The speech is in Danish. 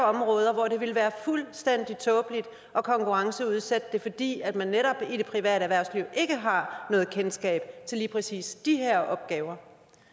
områder hvor det ville være fuldstændig tåbeligt at konkurrenceudsætte det fordi man netop i det private erhvervsliv ikke har noget kendskab til lige præcis de her opgaver